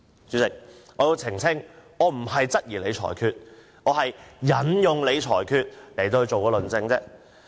主席，我要澄清，我不是質疑你的裁決，而是引用你的裁決進行論證。